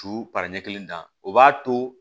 Su paran o b'a to